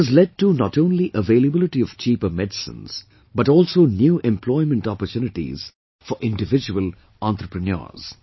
This has led to not only availability of cheaper medicines, but also new employment opportunities for individual entrepreneurs